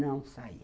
Não saía.